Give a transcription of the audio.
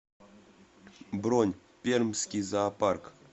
бронь пермский зоопарк